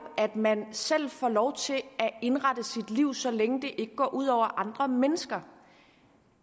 at man selv får lov til at indrette sit liv så længe det ikke går ud over andre mennesker